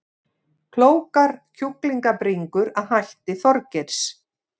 Klókar kjúklingabringur að hætti Þorgeirs